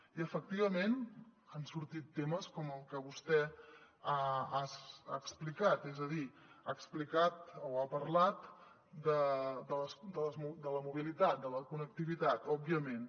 i efectivament han sortit temes com el que vostè ha explicat és a dir ha parlat de la mobilitat de la connectivitat òbviament